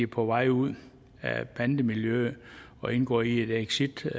på vej ud af bandemiljøet og indgår i en exitplan